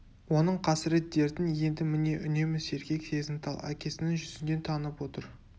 оның қасірет дертін енді міне үнемі сергек сезімтал әкесінің жүзінен танып отыр